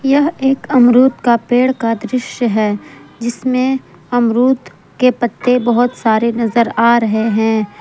यह एक अमरूद का पेड़ का दृश्य है जिसमें अमरूद के पत्ते बहुत सारे नजर आ रहे हैं।